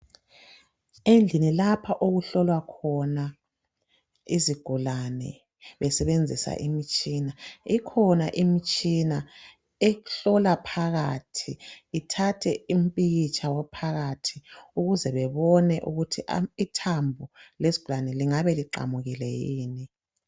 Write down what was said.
Endlini lapha okuhlolwa khona izigulane besebenzisa imitshina, ikhona imitshina ehlola phakathi, ithathe impikitsha waphakathi ukuze bebone ukuthi a ithambo lezwane lingabe liqamukile yini.